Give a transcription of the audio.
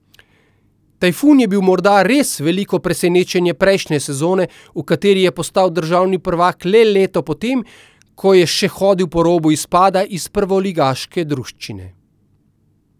Tajfun je bil morda res veliko presenečenje prejšnje sezone, v kateri je postal državni prvak le leto potem, ko je še hodil po robu izpada iz prvoligaške druščine.